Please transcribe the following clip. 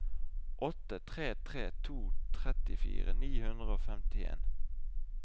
åtte tre tre to trettifire ni hundre og femtien